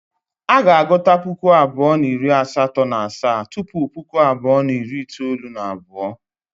A ga-agụta Puku abụọ na iri asato na asaa tupu Puku abụọ na iri itoolu na abuo.